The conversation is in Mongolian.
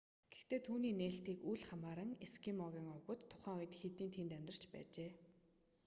гэхдээ түүний нээлтийг үл хамааран эскимогийн овгууд тухайн үед хэдийн тэнд амьдарч байжээ